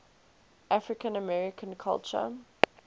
african american culture